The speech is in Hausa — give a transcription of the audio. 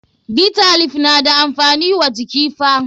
Bitter leaf na da amfani wa jiki fa.